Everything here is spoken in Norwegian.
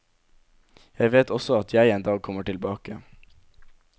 Jeg vet også at jeg en dag kommer tilbake.